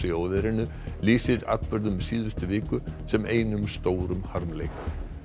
í óveðrinu lýsir atburðum síðustu viku sem einum stórum harmleik